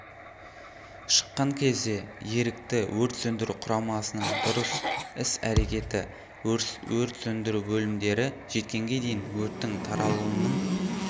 шыққан кезде ерікті өрт сөндіру құрамасының дұрыс іс-әрекеті өрт сөндіру бөлімдері жеткенге дейін өрттің таралуының